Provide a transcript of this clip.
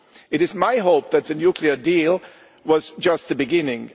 It is my hope that the nuclear deal was just the beginning.